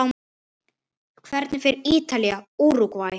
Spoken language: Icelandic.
Hvernig fer Ítalía- Úrúgvæ?